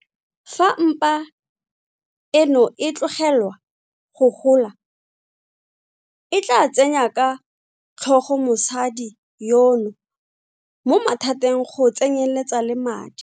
Fa mpa eno e tlogelwa go gola e tla tsenya ka tlhogo mosadi yono mo mathateng go tsenyeletsa le a madi.